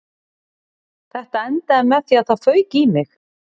Þetta endaði með því að það fauk í mig